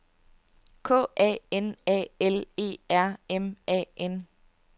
K A N A L E R M A N